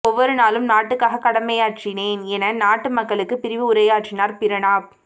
ஒவ்வொரு நாளும் நாட்டுக்காக கடைமையாற்றினேன் என நாட்டு மக்களுக்கு பிரிவு உரையாற்றினார் பிரணாப்